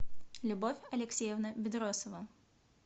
любовь алексеевна бедросова